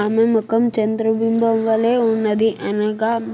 ఆమె మొఖం చంద్రబింబం వలె ఉన్నది అనగా